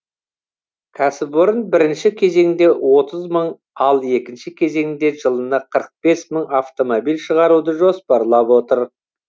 кәсіпорын бірінші кезеңде отыз мың ал екінші кезеңде жылына қырық бес мың автомобиль шығаруды жоспарлап отыр